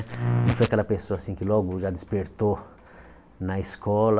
Eu fui aquela pessoa assim que logo já despertou na escola.